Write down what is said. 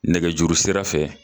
Nɛkɛjuru sira fɛ